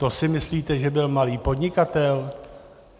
To si myslíte, že byl malý podnikatel?